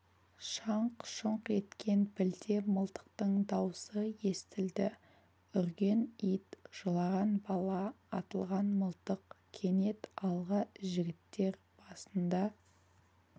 шаңқ-шұңқ еткен білте мылтықтың даусы естілді үрген ит жылаған бала атылған мылтық кенет алға жігіттер басында